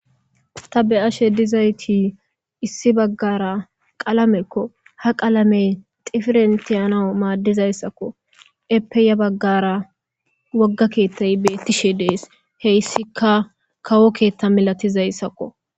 Ta be'ashe dizayti issi baggara qalamekko ha qalame difirentiyana maaddizayssakko epeya baggara wogga keettay beettishe dees heyssika kawo keetta milatizayssakko.